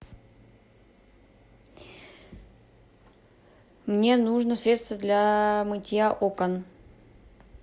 мне нужно средство для мытья окон